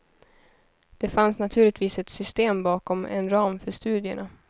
Det fanns naturligtvis ett system bakom, en ram för studierna.